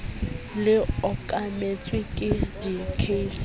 le okametswe ke di case